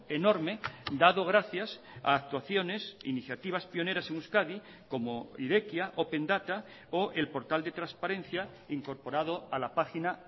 enorme dado gracias a actuaciones iniciativas pioneras en euskadi como irekia open data o el portal de transparencia incorporado a la página